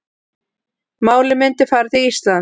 Málið myndi fara til Íslands